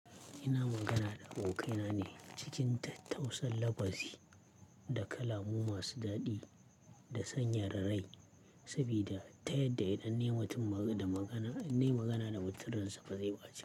Ina magana da abokaina ne cikin tattausar labbari da kalamu masu daɗi da sanyar ra rai, sabida ta yadda idan nayi ma mutum magana magana da mutum rainsa ba zai baci.